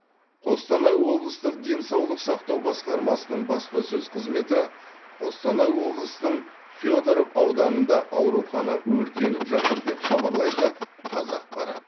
қостанай облыстық денсаулық сақтау басқармасының баспасөз қызметі қостанай облысының федоров ауданында аурухана өртеніп жатыр деп хабарлайды қазақпарат